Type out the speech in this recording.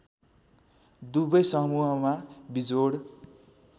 दुवै समूहमा विजोड